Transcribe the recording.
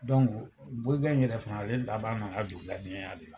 Dɔnku bɔyikɛ in yɛrɛ fana ale laban na ka don gardiɲɛya de la.